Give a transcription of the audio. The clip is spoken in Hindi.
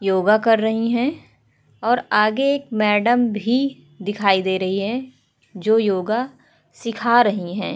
योगा कर रही हैं और आगे एक मैंडम भी दिखाई दे रही है जो योगा सीखा रही है।